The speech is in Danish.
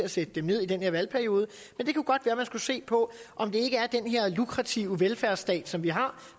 at sætte dem ned i den her valgperiode men det kunne godt være at man skulle se på om det ikke er den her lukrative velfærdsstat som vi har